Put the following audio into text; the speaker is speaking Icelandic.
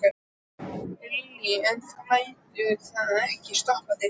Lillý: En þú lætur það ekki stoppa þig?